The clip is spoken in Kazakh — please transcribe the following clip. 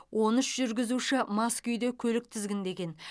он үш жүргізуші мас күйде көлік тізгіндеген